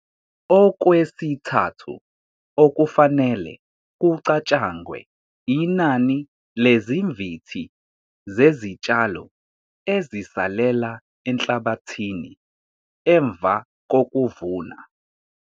Okwesithathu okufanele kucatshangwe inani lezimvithi zezitshalo ezisalela enhlabathini emva kokuvuna.